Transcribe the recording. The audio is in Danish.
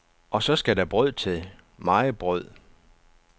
Og så skal der brød til, meget brød.